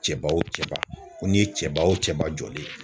Cɛba o cɛba, ko n'i ye cɛba o cɛba jɔlen ye.